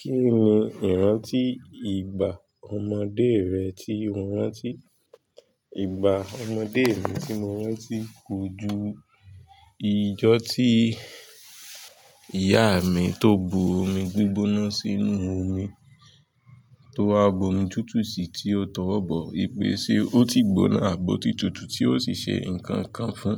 Kí ni ìrántí ìgbà ọmọdé rẹ tí o rántí? Ìgbà ọmọdé mi tí mo rántí kojú ijọ́ tí ìyá mi tó bu omi gbígbóná sínú omi, tó wá bu omi tútù si tí ó tọwọ́ bọ̀, wipè ṣe ó ti gbóná àbòti tútù tí ó sì ṣe nǹkan kan fún.